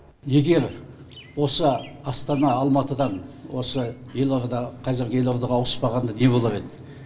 егер осы астана алматыдан осы елорда қазіргі елордаға ауыспағанда не болар еді